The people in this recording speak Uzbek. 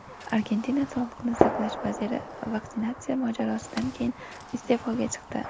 Argentina sog‘liqni saqlash vaziri vaksinatsiya mojarosidan keyin iste’foga chiqdi.